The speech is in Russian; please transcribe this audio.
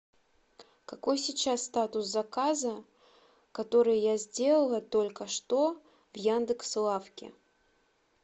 какой сейчас статус заказа который я сделала только что в яндекс лавке